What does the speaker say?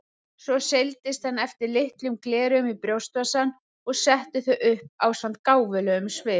Svo seildist hann eftir litlum gleraugum í brjóstvasann og setti þau upp ásamt gáfulegum svip.